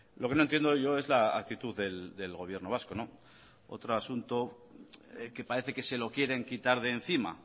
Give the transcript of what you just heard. lo que no entiendo yo es la actitud del gobierno vasco otro asunto que parece que se lo quieren quitar de encima